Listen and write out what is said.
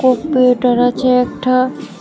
Computer আছে একটা।